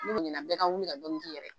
ko ɲina bɛɛ ka wuli ka dɔɔnin k'i yɛrɛ ye.